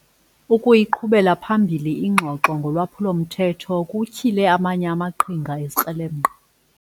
Ukuyiqhubela phambili ingxoxo ngolwaphulo-mthetho kutyhile amanye amaqhinga ezikrelemnqa.